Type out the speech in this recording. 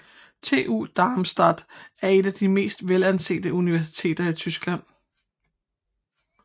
TU Darmstadt er et af de mest velansete universiteter i Tyskland